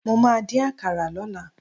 Mo máà dín àkàrà lọ́la.